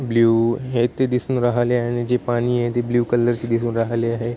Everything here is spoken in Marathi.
ब्ल्यु हे इथ दिसून राहले आहे आणि जे पाणीये ते ब्ल्यु कलर चे दिसून राहले आहे.